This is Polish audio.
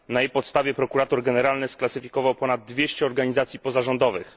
Na jej podstawie prokurator generalny sklasyfikował ponad 200 organizacji pozarządowych.